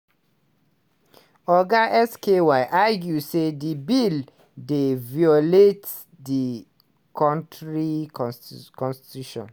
oga sky argue say di bill dey violate di kontris consti constitution